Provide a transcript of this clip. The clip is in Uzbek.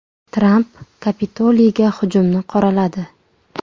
Tramp Kapitoliyga hujumni qoraladi.